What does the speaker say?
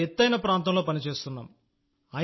ఇంత ఎత్తైన ప్రాంతంలో పని చేస్తున్నాం